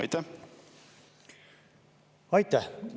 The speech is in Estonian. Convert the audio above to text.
Aitäh!